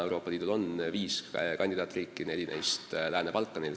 Euroopa Liidul on praegu viis kandidaatriiki, neli neist Lääne-Balkanil.